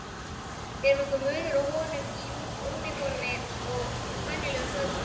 Er nokkur munur á honum í úniformi og venjulegum fötum?